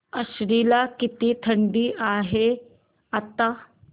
आश्वी ला किती थंडी आहे आता